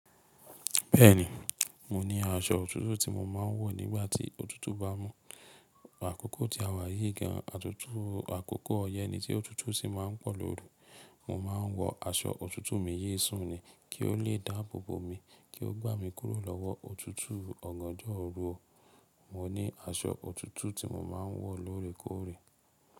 Bẹ́ẹ̀ni, mo ní aṣọ òtútù tí mo máa ń wọ̀ nígbàtí òtútù bá mú. Àkókò tí a wà yí gan, àtútù àkókò yẹn ni tí òtútù sì máa ń pọ̀ lóru. Mo máa ń wọ aṣọ òtútù mi yí sùn ni kí ó le dáàbò bo mi kí ó gbá mi kúrò lọ́wọ́ òtútù ọ̀gànjọ́ ooru. Mo ní aṣọ òtútù tí mo máa ń wọ̀ lóòrèkóòrè.